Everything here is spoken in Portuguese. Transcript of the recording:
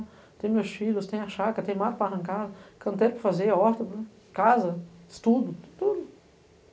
Tenho meus filhos, tenho a chácara, tenho mato para arrancar, canteiro para fazer, horta, casa, estudo, tudo.